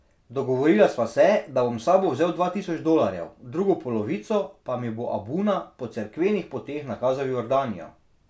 Dogovorila sva se, da bom s sabo vzel dva tisoč dolarjev, drugo polovico pa mi bo abuna po cerkvenih poteh nakazal v Jordanijo.